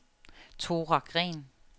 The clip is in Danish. Thora Green